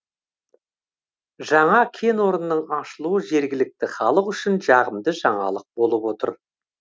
жаңа кен орнының ашылуы жергілікті халық үшін жағымды жаңалық болып отыр